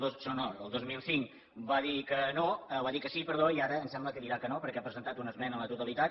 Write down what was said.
no no el dos mil cinc va dir que sí i ara em sembla que dirà que no perquè ha presentat una esmena a la totalitat